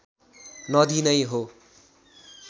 नदी नै हो